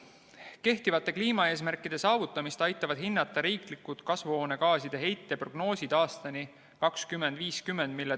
Kehtivate kliimaeesmärkide saavutamist aitavad hinnata riiklikud kasvuhoonegaaside heite prognoosid aastani 2050.